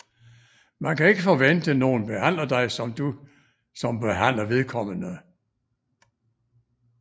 Man kan ikke forvente nogen behandler dig som du som behandler vedkommende